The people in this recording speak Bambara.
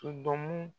Todɔn